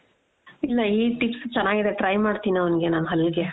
ಇಲ್ಲ ಈ tips ಚೆನ್ನಾಗಿದೆ try ಮಾಡ್ತೀನಿ ಅವ್ಙ್ಗೆ ನಾನ್ ಹಲ್ಲಿಗೆ